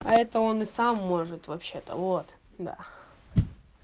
а это он и сам может вообще-то вот да